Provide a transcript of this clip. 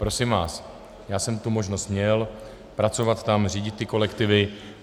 Prosím vás, já jsem tu možnost měl pracovat tam, řídit ty kolektivy.